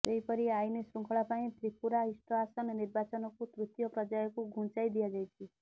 ସେହିପରି ଆଇନ ଶୃଙ୍ଖଳା ପାଇଁ ତ୍ରିପୁରା ଇଷ୍ଟ ଆସନ ନିର୍ବାଚନକୁ ତୃତୀୟ ପର୍ଯ୍ୟାୟକୁ ଘୁଞ୍ଚାଇ ଦିଆଯାଇଛି